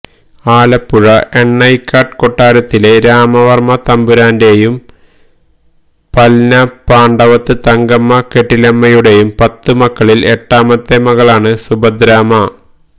ആലപ്പുഴ എണ്ണയ്ക്കാട്ട് കൊട്ടാരത്തിലെ രാമവര്മ്മ തമ്പുരാന്റെയും പല്ലന പാണ്ഡവത്ത് തങ്കമ്മ കെട്ടിലമ്മയുടെയും പത്ത് മക്കളില് എട്ടാമത്തെ മകളാണ് സുഭദ്രാമ്മ